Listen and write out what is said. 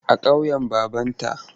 A ƙauyen babanta.